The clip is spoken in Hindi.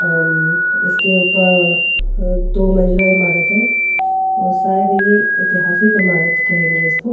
इसके ऊपर दो मंजिला इमारत है और शायद ये ऐतिहासिक इमारत कहेंगे इसको.